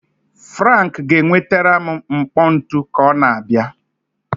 Frank ga-enwetara m mkpọ ntu ka ọ na-abịa.